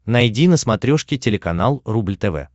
найди на смотрешке телеканал рубль тв